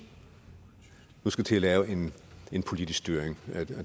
nu skal til at lave en en politisk styring